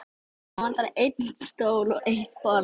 Það vantar einn stól og eitt borð.